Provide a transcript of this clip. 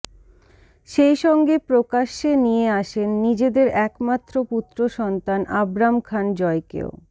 সেইসঙ্গে প্রকাশ্যে নিয়ে আসেন নিজেদের একমাত্র পুত্র সন্তান আব্রাম খান জয়কেও